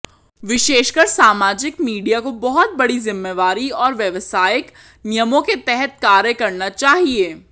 विशेषकर सामाजिक मीडिया को बहुत बड़ी जिम्मेवारी और व्यावसायिक नियमों के तहत कार्य करना चाहिए